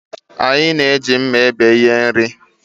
Anyị na-eji mma ebe ihe nri